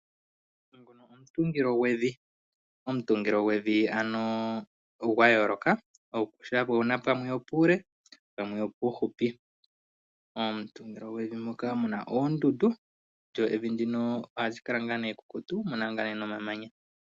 Omutungillo gwevi ogwa yoloka oshoka ope na pamwe opuule pamwe opufupi. Omutungilo gwevi moka mu na oondundu lyo evi ohali kala ekukutu mu na nomamanya.